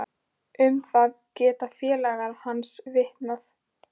Um það geta félagar hans vitnað.